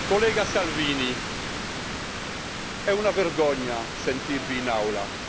Collega Salvini, è una vergogna sentirla in Aula.